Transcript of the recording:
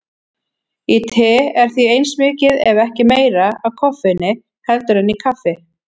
Í tei er því eins mikið ef ekki meira af koffeini heldur en í kaffi.